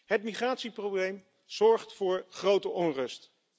Het migratieprobleem zorgt voor grote onrust.